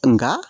Nka